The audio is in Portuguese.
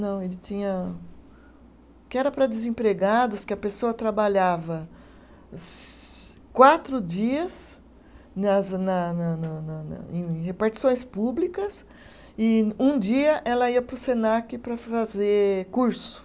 Não, ele tinha. Que era para desempregados, que a pessoa trabalhava se quatro dias nas na na na na na, em repartições públicas, e um dia ela ia para o Senac para fazer curso.